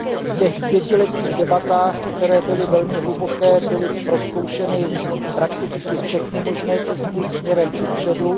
V těch pětiletých debatách, které byly velmi hluboké, byly prozkoušeny prakticky všechny možné cesty směrem kupředu.